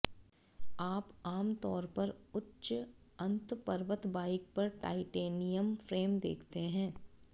आप आम तौर पर उच्च अंत पर्वत बाइक पर टाइटेनियम फ्रेम देखते हैं